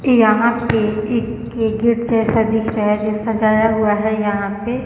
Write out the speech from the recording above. यहाँ पे एक गिरगिट जैसा दिख रहा है जो सजाया हुआ है यहाँ पे